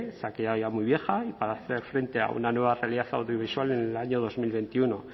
se ha quedado ya muy vieja y para hacer frente a una nueva realidad audiovisual en el año dos mil veintiuno